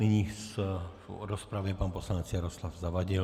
Nyní v rozpravě pan poslanec Jaroslav Zavadil.